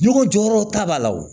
Ɲɔgɔn jɔyɔrɔ ta b'a la wo